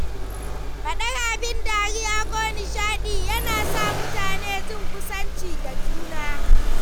Faɗar abin dariya ko nishaɗi yana sa mutane jin kusanci da juna.